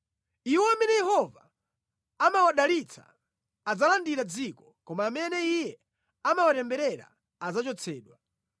Iwo amene Yehova amawadalitsa adzalandira dziko, koma amene Iye amawatemberera adzachotsedwa.